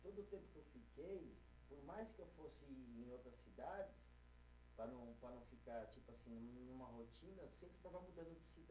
Todo o tempo que eu fiquei, por mais que eu fosse em outras cidades, para não, para não ficar tipo assim numa rotina, sempre estava mudando de cidade.